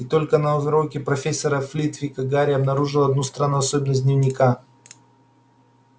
и только на уроке профессора флитвика гарри обнаружил одну странную особенность дневника